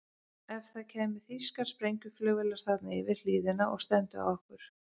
Ef það kæmu þýskar sprengjuflugvélar þarna yfir hlíðina og stefndu á okkur?